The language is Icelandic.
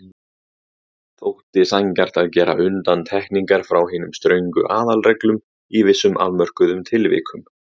Þótti sanngjarnt að gera undantekningar frá hinum ströngu aðalreglum í vissum afmörkuðum tilvikum.